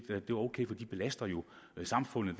er ok for de belaster jo samfundet